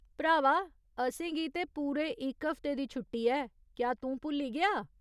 भ्रावा, असेंगी ते पूरे इक हफ्ते दी छुट्टी ऐ , क्या तूं भुल्ली गेआ ?